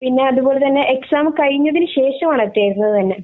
പിന്നെ അത്പോലെ തന്നെ എക്സാം കഴിഞ്ഞതിനു ശേഷം ആണ് തരുന്നത് തന്നെ